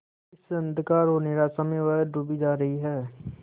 इस अंधकार और निराशा में वह डूबी जा रही है